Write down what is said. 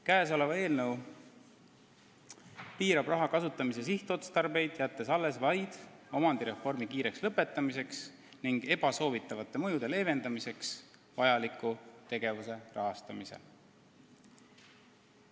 Käesolev eelnõu piirab raha kasutamise sihtotstarbeid, jättes alles vaid omandireformi kiireks lõpetamiseks ning ebasoovitavate mõjude leevendamiseks vajaliku tegevuse rahastamise.